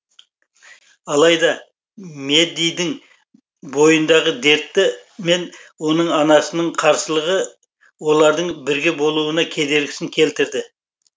алайда мэддидің бойындағы дерті мен оның анасының қарсылығы олардың бірге болуына кедергісін келтірді